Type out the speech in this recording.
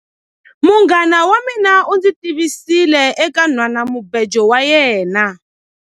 Munghana wa mina u ndzi tivisile eka nhwanamubejo wa yena.